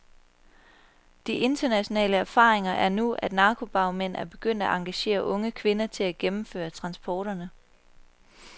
De internationale erfaringer er nu, at narkobagmænd er begyndt at engagere unge kvinder til at gennemføre transporterne.